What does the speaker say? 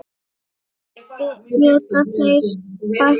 Geta þeir bætt sig?